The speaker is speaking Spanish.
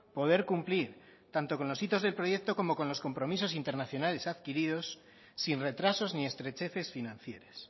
poder cumplir tanto con los hitos del proyecto como con los compromisos internacionales adquiridos sin retrasos ni estrecheces financieras